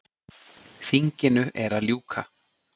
Þinginu er að ljúka.